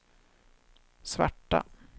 svarta